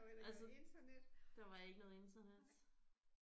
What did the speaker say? Altså der var ikke noget internet